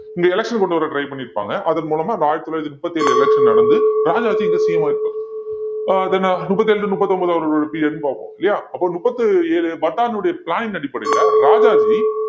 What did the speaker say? இங்க election கொண்டு வர try பண்ணியிருப்பாங்க அதன் மூலமா இந்த ஆயிரத்தி தொள்ளாயிரத்தி முப்பத்தி ஏழு election நடந்து ராஜாஜி இங்க CM ஆயிருப்பாரு அஹ் then முப்பத்தி ஏழுல இருந்து முப்பத்தி ஒன்பது அவரோட period ன்னு பார்ப்போம் இல்லையா அப்போ முப்பத்தி ஏழு அடிப்படையில ராஜாஜி